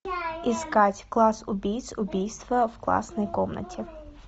искать класс убийц убийство в классной комнате